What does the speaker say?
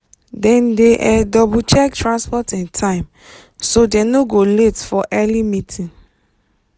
dem dey um double check transport um time so dem no go late for early meeting.